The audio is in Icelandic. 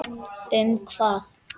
Um hvað?